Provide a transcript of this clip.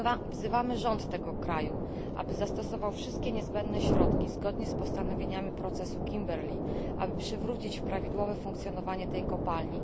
Wzywamy rząd tego kraju, aby zastosował wszystkie niezbędne środki zgodnie z postanowieniami procesu Kimberley, aby przywrócić prawidłowe funkcjonowanie tej kopalni.